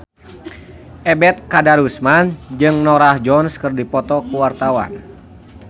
Ebet Kadarusman jeung Norah Jones keur dipoto ku wartawan